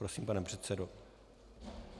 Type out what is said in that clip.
Prosím, pane předsedo.